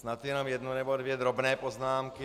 Snad jenom jednu nebo dvě drobné poznámky.